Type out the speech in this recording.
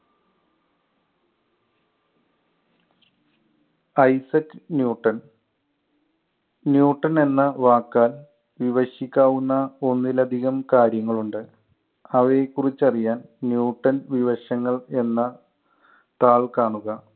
Isaac Newton Newton എന്ന വാക്ക് വിഭജിക്കാവുന്ന ഒന്നിലധികം കാര്യങ്ങൾ ഉണ്ട്. അവയെ ക്കുറിച്ച് അറിയാൻ ന്യൂട്ടൻ വിവശങ്ങൾ എന്ന താൾ കാണുക